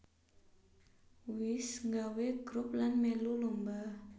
Wis nggawé grup lan mèlu lomba